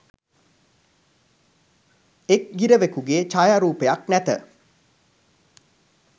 එක් ගිරවකුගේ ඡායාරූපයක් නැත